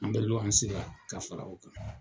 An bɛ luwanse la ka fara o kan.